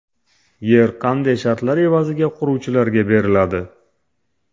Yer qanday shartlar evaziga quruvchilarga beriladi?